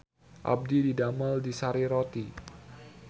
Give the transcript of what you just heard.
Abdi didamel di Sari Roti